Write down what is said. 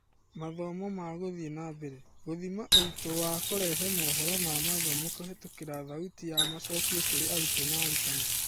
Mathomo ma gũthiĩ nambere: Gĩthima ũritũ wa kũrehe mohoro ma mathomo kũhetũkĩra thauti ya macokio kũrĩ arutwo na arutani.